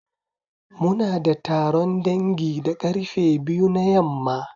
Muna da taron dangi da karfe biyu na yamma.